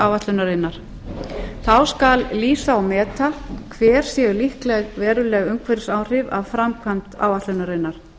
áætlunarinnar þá skal lýsa og meta hver séu líkleg veruleg umhverfisáhrif af framkvæmd áætlunarinnar